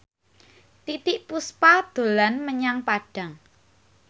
Titiek Puspa dolan menyang Padang